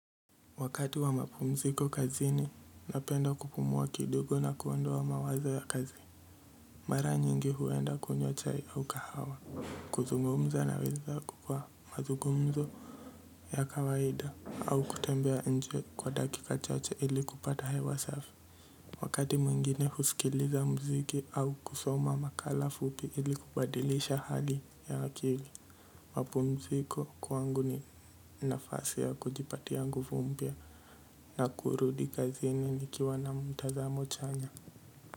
Wakati wa mapumziko kazini. Napenda kupumua kidogo na kuondoa wa mawazo ya kazi mara nyingi huenda kunywa chai au kahawa, kuzungumza na wezangu kwa mazugumzo ya kawaida au kutembea nje kwa dakika chache ili kupata hewa safi wakati mwingine husikiliza muziki au kusoma makala fupi ili kubadilisha hali ya akili. Wapumziko kwangu ni nafasi ya kujipatia nguvu mpya na kurudi kazini nikiwa na mtazamo chanya.